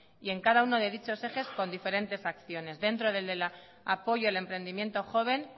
y en cada uno de dichos ejes con diferentes acciones dentro del de apoyo al emprendimiento joven